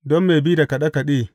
Don mai bi da kaɗe kaɗe.